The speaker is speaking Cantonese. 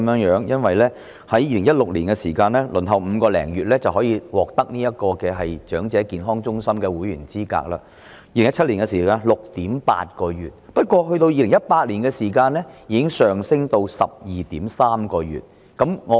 然而，在2016年，長者輪候5個多月便可成為長者健康中心的會員 ；2017 年的輪候時間是 6.8 個月；但到2018年，輪候時間已延長至 12.3 個月。